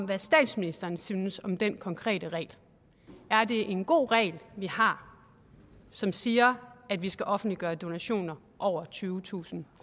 hvad statsministeren synes om den konkrete regel er det en god regel vi har som siger at vi skal offentliggøre donationer over tyvetusind